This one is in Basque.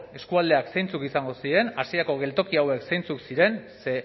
eskualdeak zeintzuk izango ziren hasierako geltoki hauek zeintzuk ziren ze